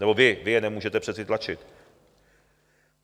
Nebo vy, vy je nemůžete přece tlačit.